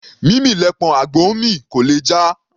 Mímì lẹpọ̀n àgbò ńmì; kò lè jà.